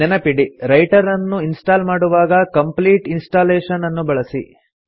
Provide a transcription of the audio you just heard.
ನೆನಪಿಡಿ ರೈಟರನ್ನು ಇನ್ಸ್ಟಾಲ್ ಮಾಡುವಾಗ ಕಂಪ್ಲೀಟ್ ಇನ್ಸ್ಟಾಲೇಷನ್ ಅನ್ನು ಬಳಸಿ